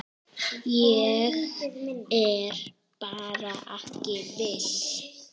Ég er bara ekki viss.